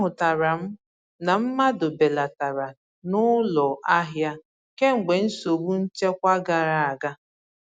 A hụtatara m na mmadụ belatara n'ụlọ ahia kemgbe nsogbu nchekwa gara aga.